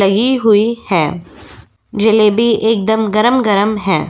लगीं हुई है। जलेबी एकदम गरम-गरम है।